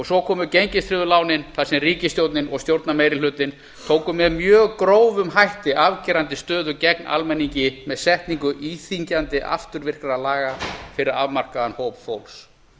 svo komu gengistryggðu lánin þar sem ríkisstjórnin og stjórnarmeirihlutinn tóku með mjög grófum hætti afgerandi stöðu gegn almenningi með setningu íþyngjandi afturvirkra laga fyrir afmarkaðan hóp fólks